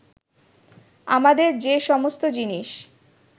আমাদের যে সমস্ত জিনিস